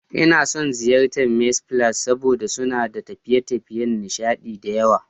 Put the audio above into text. Ina son ziyartar Mee's Palace saboda suna da tafiye-tafiyen nishaɗi da yawa.